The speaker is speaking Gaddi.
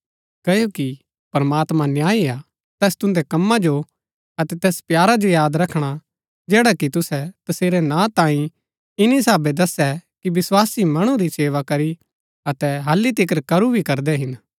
क्ओकि प्रमात्मां न्यायी हा तैस तुन्दै कमां जो अतै तैस प्यारा जो याद रखणा जैडा कि तुसै तसेरै नां तांई इन्‍नी साहबै दस्सै कि विस्वासी मणु री सेवा करी अतै हल्ली तिकर करू भी करदै हिन